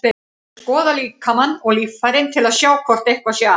Ég skoða líkamann og líffærin til að sjá hvort eitthvað sé að.